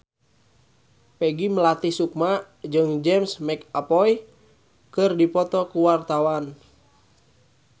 Peggy Melati Sukma jeung James McAvoy keur dipoto ku wartawan